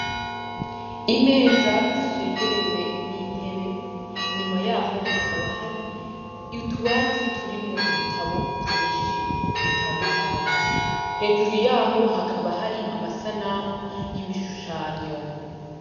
Imeza zishengerewe n' intebe ,inyuma yahoo hakaba hari utubati turimwo ibitabo vyinshi bitandukanye. Hejuru yaho hakaba hari amasanamu y'ibishushanyo.